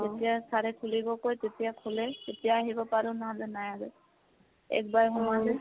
যেতিয়া sir এ খুলিব কয় তেতিয়া খোলে। তেতিয়া আহিব পাৰো, নহলে নাই আৰু। একবাৰ সোমালে |